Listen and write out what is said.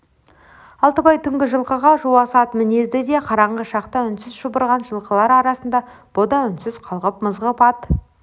алтыбай түнгі жылқыға жуас ат мінеді де қараңғы шақта үнсіз шұбырған жылқылар арасында бұ да үнсіз қалғып-мызғып ат